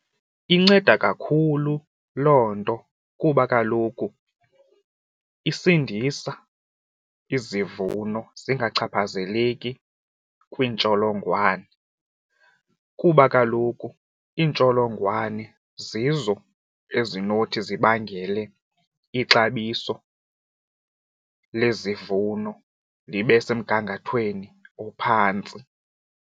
Inceda kakhulu loo nto kuba kaloku isindisa izivuno zingachaphazeleki kwiintsholongwane kuba kaloku iintsholongwane zizo ezinothi zibangele ixabiso lezivuno libe semgangathweni ophantsi.